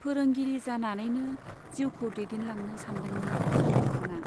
फोरोंगिरि जानानैनो जिउखौ दैदेनलांनो सानदोंमोन सानमोखांआ।